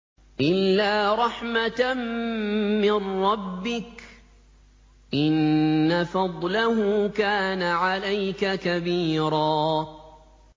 إِلَّا رَحْمَةً مِّن رَّبِّكَ ۚ إِنَّ فَضْلَهُ كَانَ عَلَيْكَ كَبِيرًا